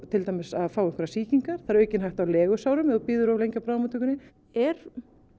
til dæmis að fá sýkingar það er aukin hætta á legusárum ef þú bíður of lengi á bráðamóttökunni er